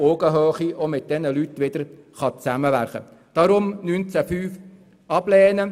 Deshalb beantragt die SiK-Mehrheit, den Antrag zu Artikel 19 Absatz 5 abzulehnen.